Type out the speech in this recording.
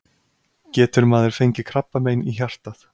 getur maður fengið krabbamein í hjartað